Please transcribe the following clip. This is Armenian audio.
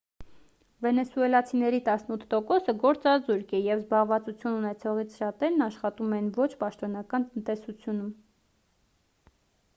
վենեսուելացիների տասնութ տոկոսը գործազուրկ է և զբաղվածություն ունեցողներից շատերն աշխատում են ոչ պաշտոնական տնտեսությունում